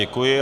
Děkuji.